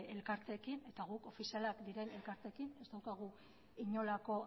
elkarteekin eta guk ofizialak diren elkarteekin ez daukagu inolako